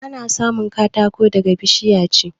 Ana samun katako daga bishiya ce